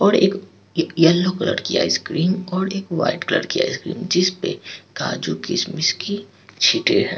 और एक एक येलो कलर की आइसक्रीम और एक वाइट कलर की आइसक्रीम जिसपे काजू-किशमिश की छींटे हैं।